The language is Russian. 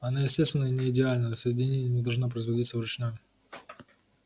она естественно не идеальна соединение не должно производиться вручную